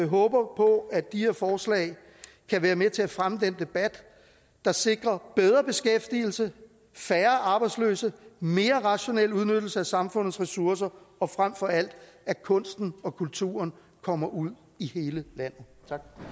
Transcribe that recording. på at de her forslag kan være med til at fremme den debat der sikrer bedre beskæftigelse færre arbejdsløse og mere rationel udnyttelse af samfundets ressourcer og frem for alt at kunsten og kulturen kommer ud i hele landet tak